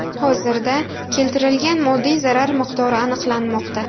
Hozirda keltirilgan moddiy zarar miqdori aniqlanmoqda.